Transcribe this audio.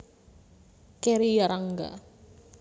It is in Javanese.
Kerry Yarangga